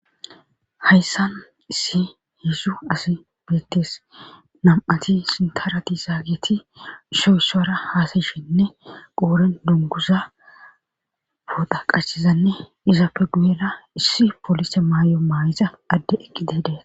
Hayssan issi heedzdzu asi beettes;nam7ati sintara dizageti issoy issuwara haasayishenne qooren dungguza pooxa qachizanne izappe guyera issi polise maayo mayiza ade eqqidi de7es.